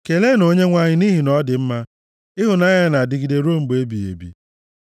Keleenụ Onyenwe anyị nʼihi na ọ dị mma; ịhụnanya ya na-adịgide ruo mgbe ebighị ebi.